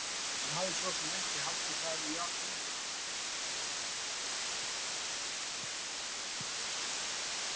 Hann hafði svo sem ekki haldið það í alvöru.